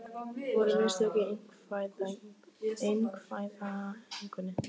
Voru mistök í einkavæðingunni?